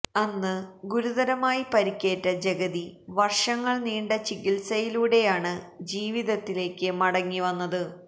അന്ന് ഗുരുതരമായി പരിക്കേറ്റ ജഗതി വര്ഷങ്ങള് നീണ്ട ചികിത്സയിലൂടെയാണ് ജീവിതത്തിലേക്ക് മടങ്ങിവന്നത്